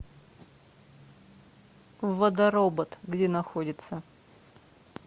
водоробот где находится